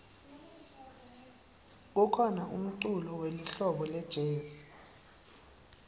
kukhona umculo welihlobo lejezi